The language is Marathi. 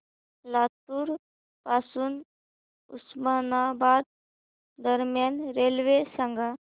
लातूर पासून उस्मानाबाद दरम्यान रेल्वे सांगा